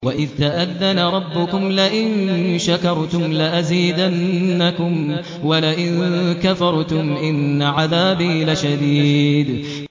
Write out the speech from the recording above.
وَإِذْ تَأَذَّنَ رَبُّكُمْ لَئِن شَكَرْتُمْ لَأَزِيدَنَّكُمْ ۖ وَلَئِن كَفَرْتُمْ إِنَّ عَذَابِي لَشَدِيدٌ